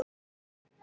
Mér bara brá.